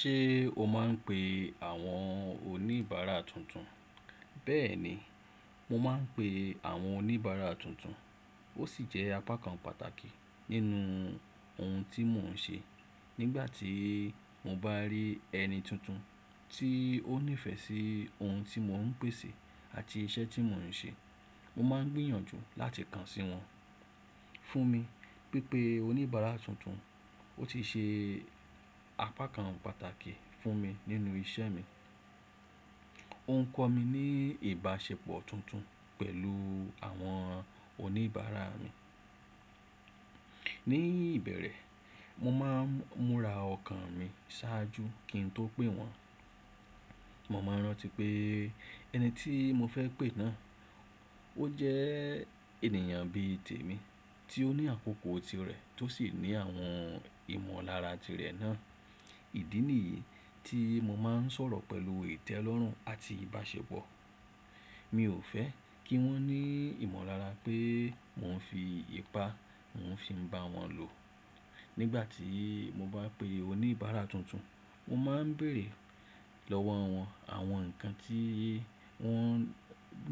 Ṣé o máa ń pe àwọn oníbàárà tuntun? Bẹ́ẹ̀ni, mo máa ń pe àwọn oníbàárà tuntun. Ó sì jẹ́ apá kan pàtàkì nínú ohun tí mò ń ṣe. Nígbà tí mo bá rí ẹni tuntun tí ó nífẹ̀ẹ́ sí ohun tí mò ń pèsè àti iṣẹ́ tí mò ń ṣe, mo máa ń gbìyànjú láti kàn sí wọn. Fún mi, pípé oníbàárà tuntun, ó ti ṣe apá kan pàtàkì fún mi nínú iṣẹ́ mi. Ó ń kọ́ mi ní ìbáṣepọ̀ tuntun pẹ̀lú àwọn oníbàárà mi. Ní ìbẹ̀rẹ̀, mo máa ń múra ọkàn mi ṣáájú kí n tó pè wọ́n. Mo máa ń rántí pé ẹni tí mo fẹ́ pè náà, ó jẹ́ ènìyàn bí i tèmi tí ó ní àkókò tirẹ̀ tó sì ní àwọn ìmọ̀lára tirẹ̀ náà. Ìdí nìyí tí mo máa ń sọ̀rọ̀ pẹ̀lú ìtẹ́lọ́rùn àti ìbáṣepọ̀. Mi ò fẹ́ kí wọ́n ní ìmọ̀lára pé mò ń fi ipá mò ń fi bá wọn lò. Nígbà tí mo bá pè oníbàárà tuntun, mo máa ń bèèrè lọ́wọ́ wọn àwọn nǹkan tí wọ́n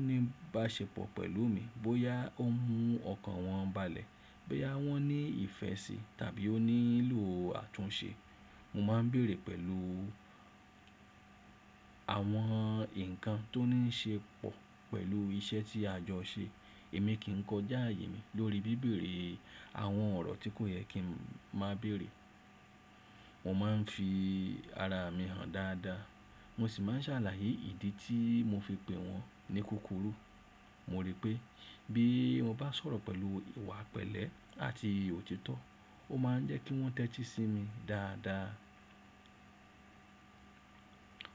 ní báṣepọ̀ pẹ̀lú mi, bóyá ó mú ọkàn wọn balẹ̀, bóyá wọ́n ní ìfẹ́ sí i tàbí ó nílò àtúnṣe. Mo máa ń bèèrè pẹ̀lú àwọn nǹkan tó ní í ṣe pọ̀ pẹ̀lú iṣẹ́ tí a jọ ṣe. Èmi kì í kọjá ààyè mi lórí bíbèrè àwọn ọ̀rọ̀ tí kò yẹ kí màá béèrè. Mo máa ń fi ara mi hàn dáadáa, mo sì máa ń ṣàlàyé ìdí tí mo fi pè wọ́n ní kúkúrú. Mo rí pé bí mo bá sọ̀rọ̀ pẹ̀lú ìwà pẹ̀lẹ́ àti òtítọ́, ó máa ń jẹ́ kí wọ́n tẹ́tí sí mi dáadáa.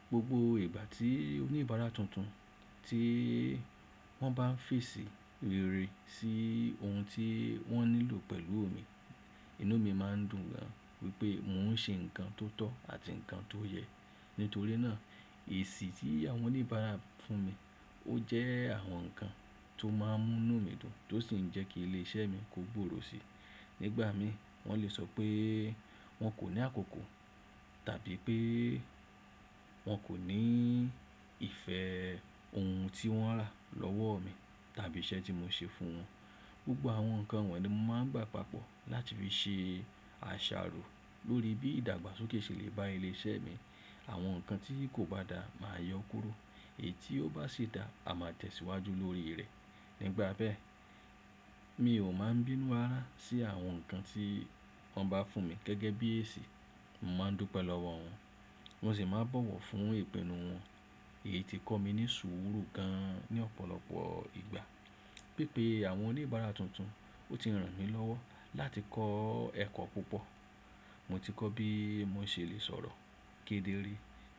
Gbogbo ìgbà tí oníbàárà tuntun tí wọ́n bá ń fèsì ìre sí ohun tí wọ́n nílò pẹ̀lú mi, inú mi má ń dùn gan, wípé mò ń ṣe ǹkan tó tọ́ àti ǹkan tó yẹ. Nítorí náà, èesi tí àwọn oníbàárà fún mi, ó jẹ́ àwọn nǹkan tó máa ń mú inú mi dùn tó sì ń jẹ́ kí ilé iṣẹ́ mi kó gbòòrò síi. Nígbà mìí, wọ́n lè sọ pé wọ́n kò ní àkókò tàbí pé wọ́n kò ní ìfẹ́ ohun tí wọ́n rà lọ́wọ́ mi tàbí iṣẹ́ tí mo ṣe fún wọn. Gbogbo àwọn nǹkan wọ̀nyí ni mo máa ń gbà papọ̀ láti fi ṣe àṣàrò lórí bí ìdàgbàsókè ṣe lè bá ilé iṣẹ́ mi. Àwọn nǹkan tí kò bá dáa máa yọ kúrò, èyí tí ó bá ṣe dáa, a máa tẹ̀ síwájú lórí rẹ̀. Nígbà bẹ́ẹ̀, mi ò máa ń bínú ará sí àwọn nǹkan tí wọ́n bá fún mi gẹ́gẹ́ bí èsì. Mo máa ń dùn pẹ̀lú wọn, mo sì máa ń bọ̀wọ̀ fún ìpinnu wọn. Èyí ti kọ́ mi ní sùúrù gan ní ọ̀pọ̀lọpọ̀ ìgbà. Pípé àwọn oníbàárà tuntun, ó ti ràn mí lọ́wọ́ láti kọ́ ẹ̀kọ́ púpọ̀. Mo ti kọ́ bí mo ṣe lè sọ̀rọ̀ kedere,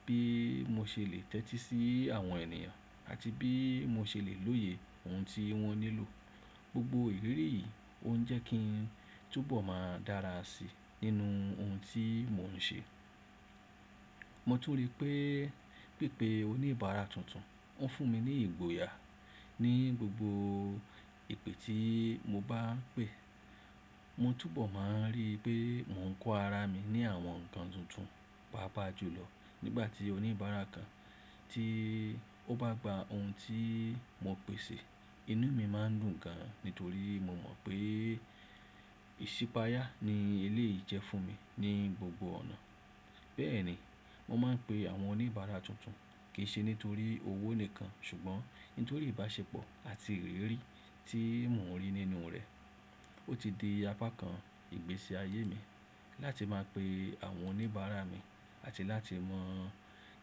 bí mo ṣe lè tẹ́tí sí àwọn ènìyàn àti bí mo ṣe lè lóye ohun tí wọ́n nílò. Gbogbo ìrírí yìí ó ń jẹ́ kí n túbọ̀ máa dára síi nínú ohun tí mò ń ṣe. Mo tún rí pé pípé oníbàárà tuntun ń fún mi ní ìgboyà. Ni gbogbo ìpè tí mo bá ń pè, mo túbọ̀ máa rí pé mò ń kó ara mi ní àwọn nǹkan tuntun pápa jù lọ. Nígbà tí oníbàárà kan tí ó bá gba ohun tí mo pèsè, inú mi má ń dùn gan, nítorí mo mọ̀ pé ìṣípáyà ni eléyìí jẹ́ fún mi ní gbogbo ọ̀nà. Bẹ́ẹ̀ ni, mo máa ń pe àwọn oníbàárà tuntun kì í ṣe nítorí owó nìkan, ṣùgbọ́n nítorí ìbáṣepọ̀ àti ìrírí tí mò ń rí nínú rẹ̀. Ó ti di apá kan ìgbésí ayé mi láti máa pe àwọn oníbàárà mi àti láti mọ̀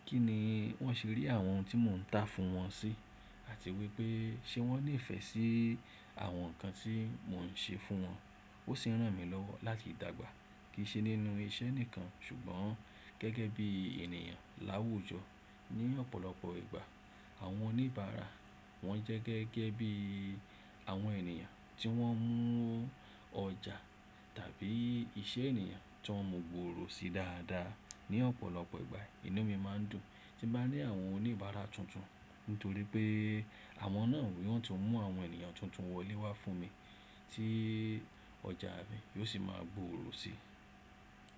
kí ni wọ́n ṣe rí àwọn ohun tí mò ń tà fún wọn sí, àti wípé ṣe wọ́n le fẹ̀ sí àwọn nǹkan tí mò ń ṣe fún wọn. Ó sì ń ràn mí lọ́wọ́ láti dàgbà, kì í ṣe nínú iṣẹ́ nìkan ṣùgbọ́n gẹ́gẹ́ bí ènìyàn láwùjọ. Ni ọ̀pọ̀lọpọ̀ ìgbà àwọn oníbàárà, wọ́n jẹ́ gẹ́gẹ́ bí àwọn ènìyàn tí wọ́n ń mú ọjà tàbí iṣẹ́ ènìyàn tó ń mú gbòòrò síi dáadáa. Ni ọ̀pọ̀lọpọ̀ ìgbà, inú mi má ń dùn tí bá ní àwọn oníbàárà tuntun, nítorí pé àwọn náà ni wọ́n tún mú àwọn ènìyàn tuntun wọlé wá fún mi tí ọjà mi yóò sì máa gbòòrò síi.